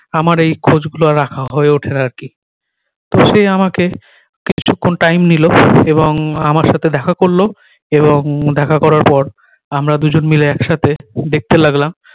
আমার এই খোঁজ গুলো আর রাখা হয়ে উঠে না আর কি তো সে আমাকে কিছুক্ষণ time নিলো এবং আমার সাথে দেখা করলো এবং দেখা করার পর আমরা দু জন মিলে এক সাথে দেখতে লাগলাম